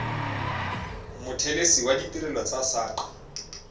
mothelesi wa ditirelo tsa saqa